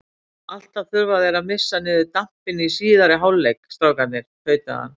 Alltaf þurfa þeir að missa niður dampinn í síðari hálfleik, strákarnir, tautaði hann.